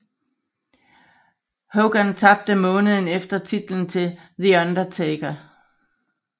Hogan tabte måneden efter titlen til The Undertaker